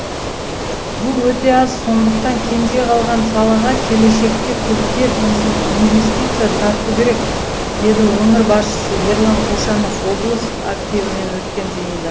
бұл өте аз сондықтан кенже қалған салаға келешекте көптеп инвестиция тарту керек деді өңір басшысы ерлан қошанов облыс активімен өткен жиында